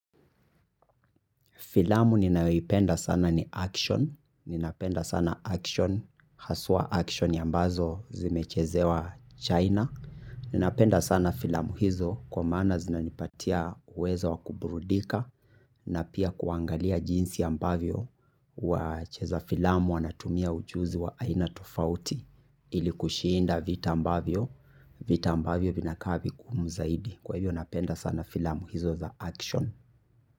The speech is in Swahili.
Filamu ninayoipenda sana ni action. Ninapenda sana action. Haswa action ambazo zimechezewa China. Napenda sana filamu hizo kwa maana zinanipatia uwezo wa kubrudika na pia kuangalia jinsi ambavyo wa cheza filamu wanatumia ujuzi wa aina tofauti ilikushinda vita ambavyo, vita ambavyo vinakaa vingumu zaidi. Kwa hivyo napenda sana filamu hizo za action.